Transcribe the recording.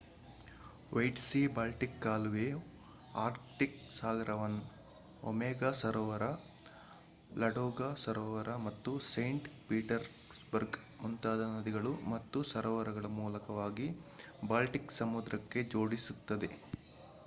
white Sea Baltic ಕಾಲುವೆಯು Arctic ಸಾಗರವನ್ನು Onega ಸರೋವರ ಲಾಡೋಗಾ ಸರೋವರ ಮತ್ತು ಸೈಂಟ್ ಪೀಟರ್ಸ್ಬರ್ಗ್ ಮುಂತಾಗಿ ನದಿಗಳು ಮತ್ತು ಸರೋವರಗಳ ಮೂಲಕವಾಗಿ ಬಾಲ್ಟಿಕ್ ಸಮುದ್ರಕ್ಕೆ ಜೋಡಿಸುತ್ತದೆ